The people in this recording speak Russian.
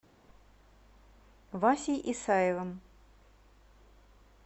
васей исаевым